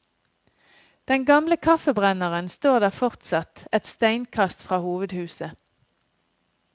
Den gamle kaffebrenneren står der fortsatt, et steinkast fra hovedhuset.